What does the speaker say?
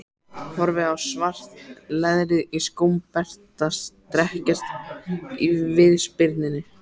Horfi á svart leðrið í skóm Berta strekkjast í viðspyrnunni.